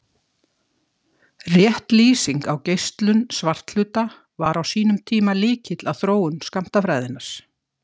Rétt lýsing á geislun svarthluta var á sínum tíma lykill að þróun skammtafræðinnar.